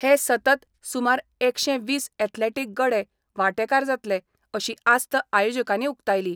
हे सतत सुमार एकशे वीस एथलेटीक गडे वांटेकार जातले अशी आस्त आयोजकांनी उकतायली.